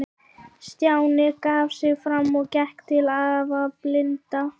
Stjáni gaf sig fram og gekk til afa blinda.